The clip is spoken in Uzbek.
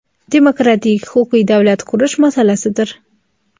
demokratik huquqiy davlat qurish masalasidir.